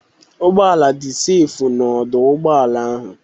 Ụgbọala dị sefu n'ọdọ ụgbọala ahụ.